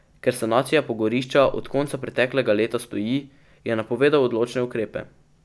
Ker sanacija pogorišča od konca preteklega leta stoji, je napovedal odločne ukrepe.